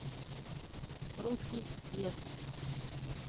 русский бес